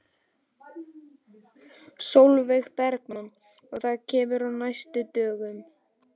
Sólveig Bergmann: Og það kemur á næstu dögum?